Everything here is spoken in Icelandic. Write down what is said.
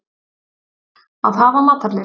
Að hafa matarlyst.